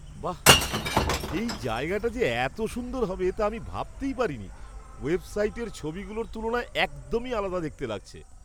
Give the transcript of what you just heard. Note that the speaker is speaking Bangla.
বাঃ! এই জায়গাটা যে এত সুন্দর হবে তা আমি ভাবতেই পারিনি। ওয়েবসাইটের ছবিগুলোর তুলনায় একদমই আলাদা দেখতে লাগছে!